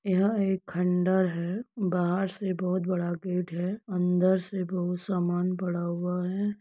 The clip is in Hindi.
यह एक खंडहर है। बाहर से बहुत बड़ा गेट है। अंदर से बहुत समान पड़ा हुआ हैं।